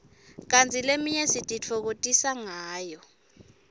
kanti leminye sititfokotisa ngayo